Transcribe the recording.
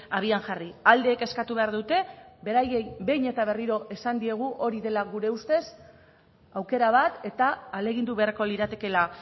abian jarri aldeek eskatu behar dute beraiei behin eta berriro esan diegu hori dela gure ustez aukera bat eta ahalegindu beharko liratekeela